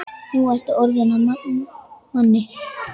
Nú ertu orðinn að manni.